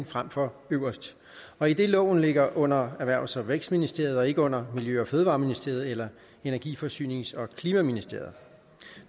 frem for øverst og idet at loven ligger under erhvervs og vækstministeriet og ikke under miljø og fødevareministeriet eller energi forsynings og klimaministeriet